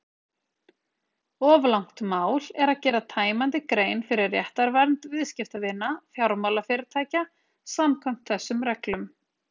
Of langt mál er að gera tæmandi grein fyrir réttarvernd viðskiptavina fjármálafyrirtækja samkvæmt þessum reglum.